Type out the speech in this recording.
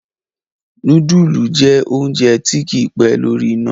nudulu jẹ oúnjẹ tí kí pé lórí iná.